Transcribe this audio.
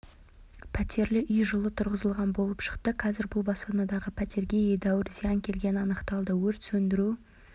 пәтерлі үй жылы тұрғызылған болып шықты қазір бұл баспанадағы пәтерге едәуір зиян келгені анықталды өрт сөндіру